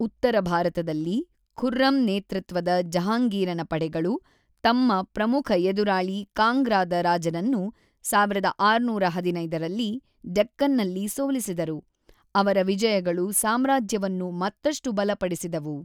ಉತ್ತರ ಭಾರತದಲ್ಲಿ, ಖುರ್ರಂ ನೇತೃತ್ವದ ಜಹಾಂಗೀರನ ಪಡೆಗಳು ತಮ್ಮ ಪ್ರಮುಖ ಎದುರಾಳಿ ಕಾಂಗ್ರಾದ ರಾಜನನ್ನು 1615ರಲ್ಲಿ ಡೆಕ್ಕನ್ ನಲ್ಲಿ ಸೋಲಿಸಿದರು, ಅವರ ವಿಜಯಗಳು ಸಾಮ್ರಾಜ್ಯವನ್ನು ಮತ್ತಷ್ಟು ಬಲಪಡಿಸಿದವು.